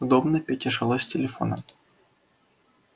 удобно пете жилось с телефоном